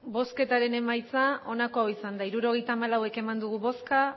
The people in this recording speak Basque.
hirurogeita hamalau eman dugu bozka